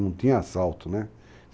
Não tinha assalto, né?